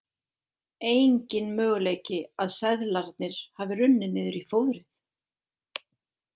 Enginn möguleiki að seðlarnir hafi runnið niður í fóðrið.